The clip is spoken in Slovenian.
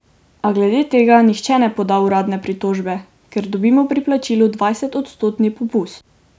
A glede tega nihče ne poda uradne pritožbe, ker dobimo pri plačilu dvajsetodstotni popust.